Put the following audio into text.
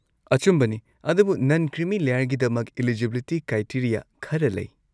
ꯑꯆꯨꯝꯕꯅꯤ! ꯑꯗꯨꯕꯨ ꯅꯟ ꯀ꯭ꯔꯤꯃꯤ ꯂꯦꯌꯔꯒꯤꯗꯃꯛ ꯢꯂꯤꯖꯤꯕꯤꯂꯤꯇꯤ ꯀ꯭ꯔꯥꯏꯇꯦꯔꯤꯌꯥ ꯈꯔ ꯂꯩ꯫